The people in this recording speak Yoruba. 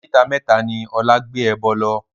Oríta mẹ́ta ni Ọlá gbé ẹbọ lọ